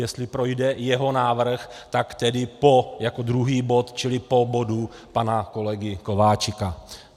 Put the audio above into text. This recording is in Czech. Jestli projde jeho návrh, tak tedy po - jako druhý bod, čili po bodu pana kolegy Kováčika.